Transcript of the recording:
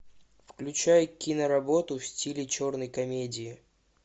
включай киноработу в стиле черной комедии